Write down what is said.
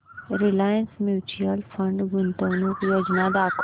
Reliance mutual fund गुंतवणूक योजना दाखव